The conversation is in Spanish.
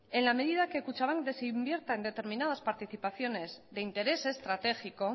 en la medida que kutxabank desinvierta en determinadas participaciones de interés estratégico